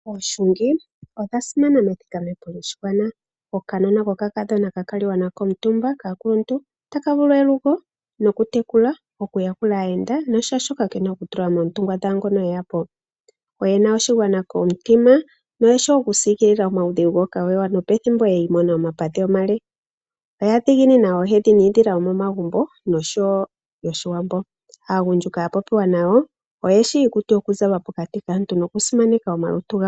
Oohungi odha simana methikame po lyoshigwana. Okanona kokakadhona kahungilwa nako kaakuluntu otaka vulu elugo, okutekula noshowo okuyakula aayenda nokutseya shoka ke na okutula moontungwa dhaangoka e ya po. Oye na oshigwana komutima noye shi okusiikilila omaudhigu gomuntu nopethimbo yi imona omapadhi omanene. Oya dhiginina oohedhi niidhila yomomagumbo noshowo yOshiwambo. Aagundjuka ya popiwa nayo oye shi iikutu yokuzalwa pokati kaantu nokusimaneka omalutu gawo.